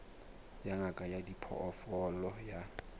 ya ngaka ya diphoofolo ya